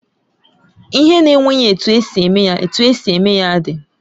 Ihe na enweghị etu esi eme ya, etu esi eme ya dị.